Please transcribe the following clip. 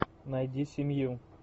найди семью